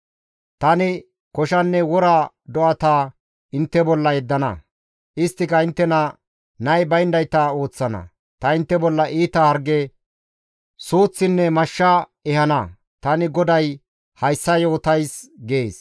Tani koshanne wora do7ata intte bolla yeddana; isttika inttena nay bayndayta ooththana; ta intte bolla iita harge, suuththinne mashsha ehana; tani GODAY hayssa yootays» gees.